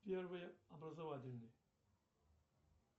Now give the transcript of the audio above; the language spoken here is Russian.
первый образовательный